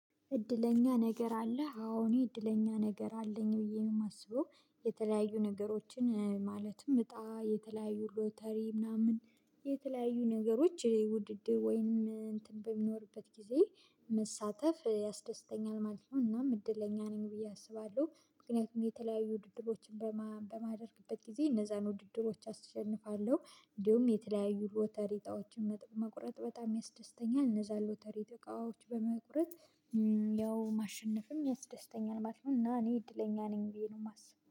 እድለኛ ነገር አለህ አዎ እኔ እድለኛ ነገር አለኝ ብዬ ነው የማስበው የተለያዩ ነገሮችን ማለትም እጣ የተለያዩ ሎተሪ ምናምን የተለያዩ ነገሮች ውድድር ወይም እንትን በሚኖርበት ጊዜ መሳተፍ ያስደስተኛል ማለት ነው። እናም እድለኛ ነኝ ብዬ አስባለሁ ምክንያቱም የተለያዩ ውድድሮችን በማደርግበት ጊዜ እነዛን ውድድሮች አሸንፋለሁ። እንዲሁም የተለያዩ ሎቶርይ እጣዎችን መቁረጥ በጣም ያስደስተኛል እነዛ ሎተሪ እጣዎኦች በመቁረጥ ያው ማሸነፍንም ያስደስተኛል ማለት ነው። እና እኔ እድለኛ ነኝ ብዬ ነው የማስበው